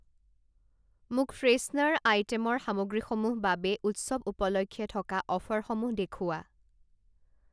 মোক ফ্ৰেছনাৰ আইটেমৰ সামগ্ৰীসমূহ বাবে উৎসৱ উপলক্ষে থকা অফাৰসমূহ দেখুওৱা।